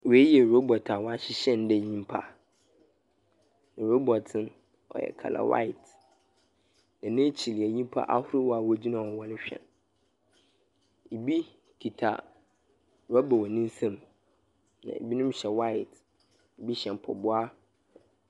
Wei yɛ robot a wɔahyehyɛ no dɛ nyimpa, robot no, ɔyɛ colour white, na n’ekyir yɛ nyimpa ahorow a wogyina hɔ wɔrohwɛ no. Bi kitsa rɔba wɔ ne nsamu, na bi hyɛ white, bi hyɛ mpaboa.